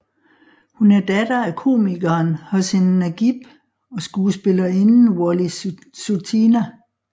Hun er datter af komikeren Husin Nagib og skuespillerinden Wolly Sutinah